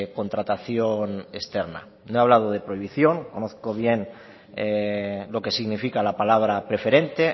contratación externa no he hablado de prohibición conozco bien lo que significa la palabra preferente